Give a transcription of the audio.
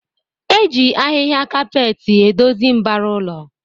Eji ahịhịa kapet edozi mbara ụlọ